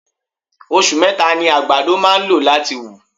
Osù meta ni àgbàdo máà ń lò láti wù.